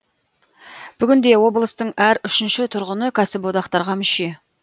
бүгінде облыстың әр үшінші тұрғыны кәсіподақтарға мүше